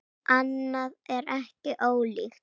Annað er ekki ólíkt.